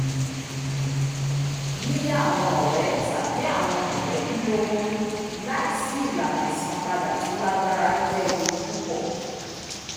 yi yá awọn ọrẹ tabi awọn mọ lẹbi lówó laisi ilana ìsànpadà tó lágbára jẹ éewu pupọ